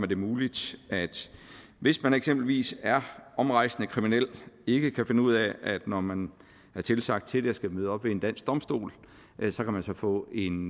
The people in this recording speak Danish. det muligt hvis man eksempelvis er omrejsende kriminel og ikke kan finde ud af når man er tilsagt til det at skulle møde op ved en dansk domstol at man så kan få en